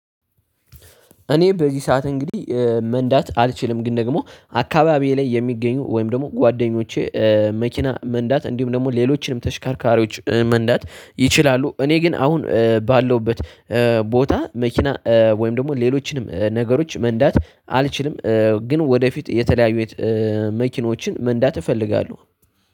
እኔ በዚህ ሰዓት እንግዲህ መንዳት አልችልም። ግን ደግሞ አካባቢዬ ላይ የሚገኙ ወይም ደግሞ ጓደኞቼ መኪና መንዳት እንዲሁም ደግሞ ሌሎችንም ተሽከርካሪዎች መንዳት ይችላሉ። እኔ ግን አሁን ባለውበት እኔ በዚህ ሰዓት እንግዲህ መንዳት አልችልም። ግን ደግሞ አካባቢዬ ላይ የሚገኙ ወይም ደግሞ ጓደኞቼ መኪና መንዳት እንዲሁም ደግሞ ሌሎችንም ተሽከርካሪዎች መንዳት ይችላሉ። እኔ ግን አሁን ባለውበት መኪናዎችን መንዳት እፈልጋልጋለው